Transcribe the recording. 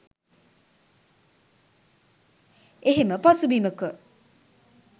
එහෙම පසුබිමක